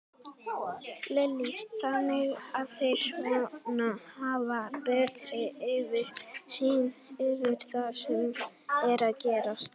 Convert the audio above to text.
Lillý: Þannig að þeir svona hafa betri yfirsýn yfir það sem er að gerast?